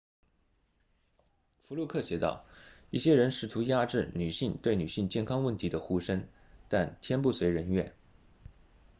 福禄克写道一些人试图压制女性对女性健康问题的呼声但天不遂人愿